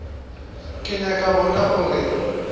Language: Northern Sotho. ke nyaka go bona gore